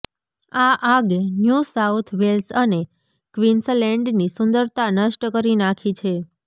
આ આગે New South Wales અને ક્વીન્સલેન્ડની સુંદરતા નષ્ટ કરી નાખી છે